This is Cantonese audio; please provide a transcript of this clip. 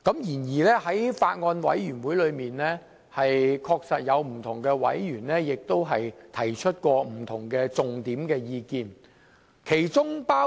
然而，在小組委員會中，確實有委員提出了不同的重點意見。